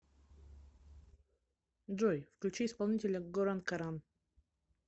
джой включи исполнителя горан каран